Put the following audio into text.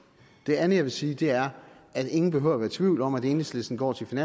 det andet jeg vil sige er at ingen behøver at være i tvivl om at enhedslisten går til